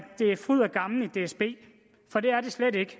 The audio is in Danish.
det er fryd og gammen i dsb for det er det slet ikke